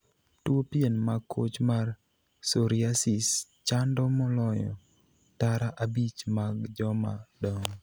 Tuo pien ma koch mar 'psoriasis' chando moloyo tara abich mag joma dongo.